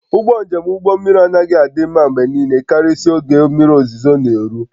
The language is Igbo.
Ụgbọ njem ụgbọ mmiri anaghị adị mma mgbe niile karịsịa oge mmiri ozuzo na-eru